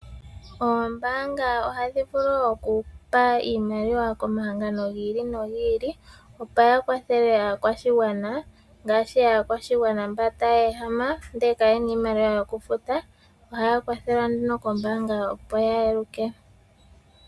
Oombaanga ohadhi vulu okupa iimaliwa komahangano gi ili nogi ili opo ya kwathele aakwashigwana ngaashi aakwashigwana mba taya ehama ndele kayena iimaliwa yokufuta ohaya kwathelwa kombaanga opo ya eluke.